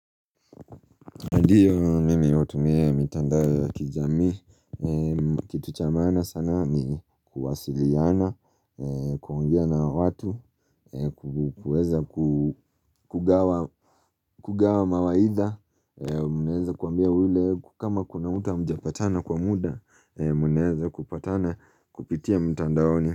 Ndiyo mimi hutumia mitandao ya kijamii, kitu chamaana sana ni kuwasiliana, kuongea na watu, kuweza kugawa mawaidha, mnaweza kuambia ule kama kuna uta hamjapatana kwa muda, mnaweza kupatana kupitia mitandaoni.